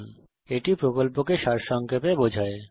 এটি কথ্য টিউটোরিয়াল প্রকল্পকে সারসংক্ষেপে বোঝায়